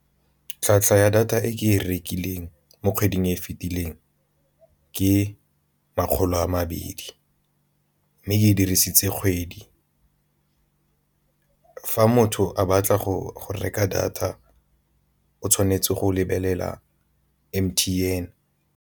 Tlhwatlhwa ya data e ke e rekileng mo kgweding e e fetileng ke makgolo a mabedi, mme ke e dirisitse kgwedi motho a batla go reka data o tshwanetse go lebelela M_T_N.